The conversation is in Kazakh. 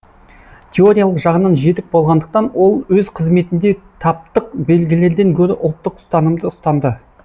теориялық жағынан жетік болғандықтан ол өз қызметінде таптық белгілерден гөрі ұлттық ұстанымды ұстанды